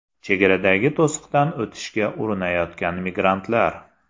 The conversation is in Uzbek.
Chegaradagi to‘siqdan o‘tishga urinayotgan migrantlar.